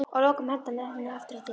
Að lokum henti hann henni aftur á dyr.